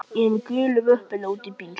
Ég er með gulu möppuna úti í bíl.